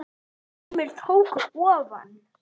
Sumir tóku ofan!